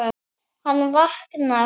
Hann vaknar.